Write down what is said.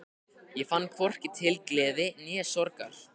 Ég fann hvorki til gleði né sorgar.